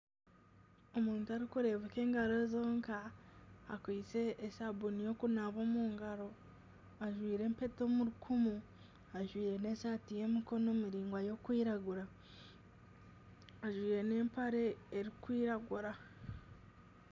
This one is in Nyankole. Omuntu arikureebeka engaro zonka akwaitse esabuuni y'okunaaba omu ngaro ,ajwaire empeta omu rukumu ,ajwaire esaati y'emikono miraingwa erikwiragura ,ajwaire nana empare erikwiragura.